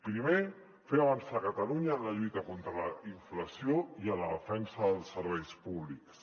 primer fer avançar catalunya en la lluita contra la inflació i en la defensa dels serveis públics